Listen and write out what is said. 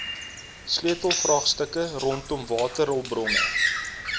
sleutelvraagstukke rondom waterhulpbronne